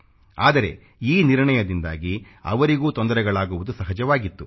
ಆದರೆ ಈ ನಿರ್ಣಯದಿಂದಾಗಿ ಅವರಿಗೂ ತೊಂದರೆಗಳಾಗುವುದು ಸಹಜವಾಗಿತು